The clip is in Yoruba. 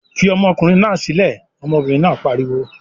"Fi ọmọkùnrin náà sílẹ̀!" Ọmọbìnrin náà pariwo.